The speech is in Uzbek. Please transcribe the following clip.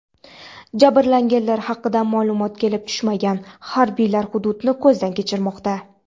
Jabrlanganlar haqida ma’lumot kelib tushmagan, harbiylar hududni ko‘zdan kechirmoqda.